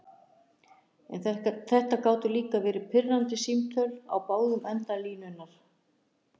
En þetta gátu líka verið pirrandi símtöl, á báðum endum línunnar.